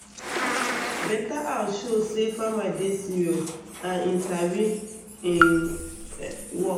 better house show say farmer dey serious and him sabi um work